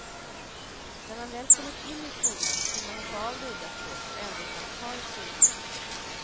När man väl kommit in i skolan kunde man hoppa av det udda språket och ändå stanna kvar i skolan.